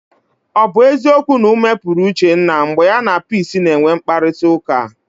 Ọ bụ eziokwu na ume pụrụ Uchenna mgbe ya na Peace na-enwe mkparịtaụka?